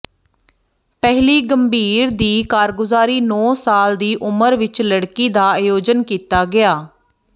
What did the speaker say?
ਪਹਿਲੀ ਗੰਭੀਰ ਦੀ ਕਾਰਗੁਜ਼ਾਰੀ ਨੌ ਸਾਲ ਦੀ ਉਮਰ ਵਿੱਚ ਲੜਕੀ ਦਾ ਆਯੋਜਨ ਕੀਤਾ ਗਿਆ